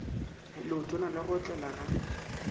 leotwana la go otlela ga